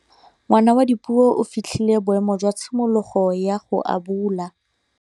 Ngwana wa Dipuo o fitlhile boêmô jwa tshimologô ya go abula.